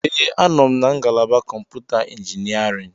Ee, anọ m na ngalaba kọmputa injiniarin.